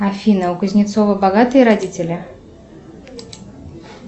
афина у кузнецова богатые родители